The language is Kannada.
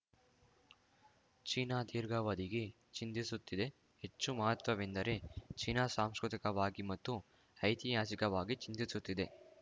ಚೀನಾ ದೀರ್ಘಾವಧಿಗೆ ಚಿಂತಿಸುತ್ತಿದೆ ಹೆಚ್ಚು ಮಹತ್ವದ್ದೆಂದರೆ ಚೀನಾ ಸಾಂಸ್ಕೃತಿಕವಾಗಿ ಮತ್ತು ಐತಿಹಾಸಿಕವಾಗಿ ಚಿಂತಿಸುತ್ತಿದೆ